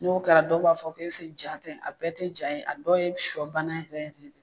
N'o kɛra dɔw b'a fɔ ke ja tɛ, a bɛɛ tɛ ja ye, a dɔw ye sɔ bana yɛrɛ yɛrɛ de.